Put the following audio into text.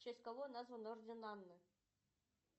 в честь кого назван орден анны